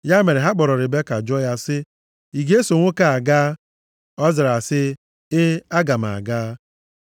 Ya mere ha kpọrọ Ribeka jụọ ya sị, “Ị ga-eso nwoke a gaa?” Ọ zara sị, “E, aga m aga.”